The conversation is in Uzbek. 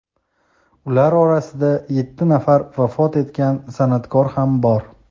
Ular orasida yetti nafar vafot etgan sana’tkor ham bor.